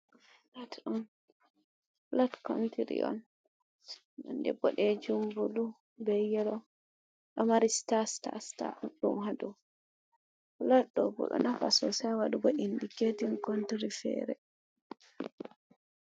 Fulat on fulat kontiri on, nonde boɗejum bulu be yelo, ɗo mari sita sita sita ɗuɗɗum ha dow. Fulat ɗo bo ɗo nafu sosai ha waɗugo indiketin kontiri feere.